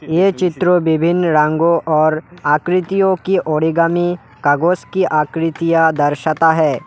ये चित्र विभिन्न रंगों और आकृतियों की ओरिगामी कागज की आकृतियां दर्शाता है।